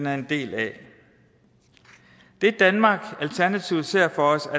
er en del af det danmark alternativet ser for sig